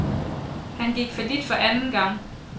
Han gik fallit for anden gang.